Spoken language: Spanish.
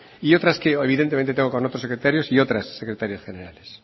y otras que evidentemente tengo con otros secretarios y otras secretarias generales